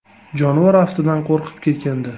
Jonivor aftidan, qo‘rqib ketgandi.